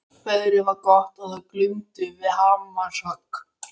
Veðrið var gott og það glumdu við hamarshögg.